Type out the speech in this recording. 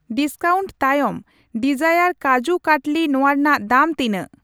Discount ᱛᱟᱭᱚᱢ ᱰᱤᱡᱟᱭᱟᱨ ᱠᱟᱡᱩ ᱠᱟᱴᱞᱤ ᱱᱚᱣᱟ ᱨᱮᱱᱟᱜ ᱫᱟᱢ ᱛᱤᱱᱟᱜ ?